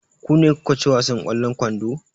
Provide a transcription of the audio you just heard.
Ku ne kuka ci wasan ƙwallon kwando?